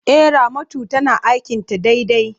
E, Ramatu tana aikin ta daidai.